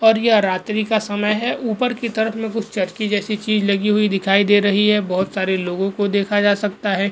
और यह रात्रि का समय है ऊपर की तरफ में कुछ चरखी जैसी चीज़ लगी हुई दिखाई दे रही है बहुत सारे लोगो को देखा जा सकता है।